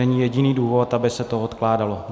Není jediný důvod, aby se to odkládalo.